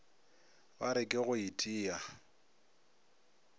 ba re ke go itia